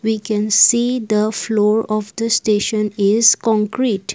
We can see the floor of the station is concrete.